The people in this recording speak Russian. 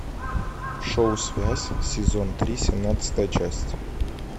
шоу связь сезон три семнадцатая часть